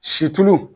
Si tulu